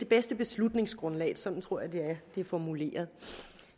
bedste beslutningsgrundlag sådan tror jeg det er formuleret